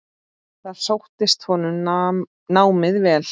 Þar sóttist honum námið vel.